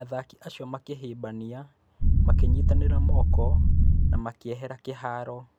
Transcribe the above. Athaki acio makĩhĩmbania, makĩnyiitanĩra moko na makiehera kĩharo.